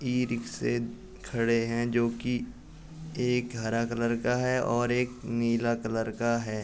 ई-रिक्शे खड़े हैं जो कि एक हरा कलर का है और एक नीला कलर का है।